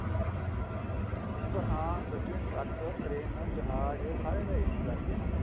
ਹੁਣ ਤਾਂ ਹਾਂ ਗੱਡੀ ਚ truck train ਜਹਾਜ ਸਾਰੇ ਤਾਂ AC ਕਰਤੇ ਉਹਨਾਂ ਨੇ